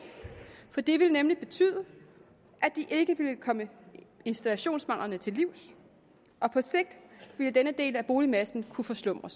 for det vil nemlig betyde at de ikke ville komme installationsmanglerne til livs og på sigt ville denne del af boligmassen kunne forslumre